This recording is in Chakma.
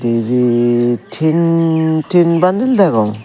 Ibit tin tin bundle degong.